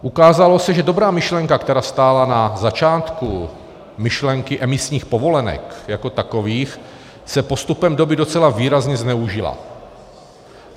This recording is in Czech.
Ukázalo se, že dobrá myšlenka, která stála na začátku myšlenky emisních povolenek jako takových, se postupem doby docela výrazně zneužila.